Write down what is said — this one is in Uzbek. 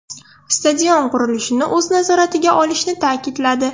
Stadion qurilishini o‘z nazoratiga olishini ta’kidladi.